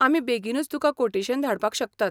आमी बेगीनूच तुका कोटेशन धाडपाक शकतात.